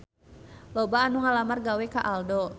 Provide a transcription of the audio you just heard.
Loba anu ngalamar gawe ka Aldo